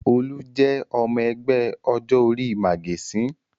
Olú jẹ́ ọmọ ẹgbẹ́ ọjọ́-orí màgẹ̀sín.